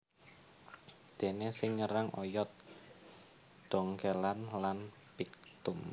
Déné sing nyerang oyot dhongkèlan lan phyctum